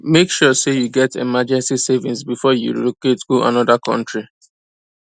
make sure say you get emergency savings before you relocate go another country